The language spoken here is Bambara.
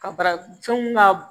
Ka bara fɛnw ka